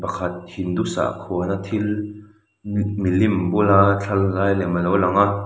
pakhat hindu sakhua na thil mih milim bula thla la lai lem alo lang a.